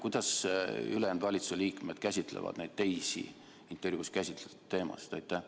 Kuidas ülejäänud valitsuse liikmed käsitlevad teisi intervjuus puudutatud teemasid?